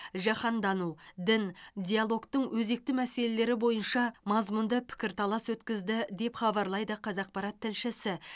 жаһандану дін диалогтың өзекті мәселелері бойынша мазмұнды пікірталас өткізді деп хабарлайды қазақпарат тілшісі